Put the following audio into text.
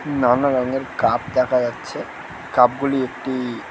নানা রঙের কাপ দেখা যাচ্ছে | কাপ গুলি একটি --